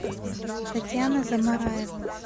татьяна замараева